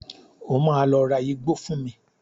O máa lọ ra igbó fún mi.